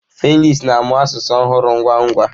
Felix na-amụ asụsụ ọhụrụ ngwa ngwa.